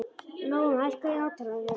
Nóam, hækkaðu í hátalaranum.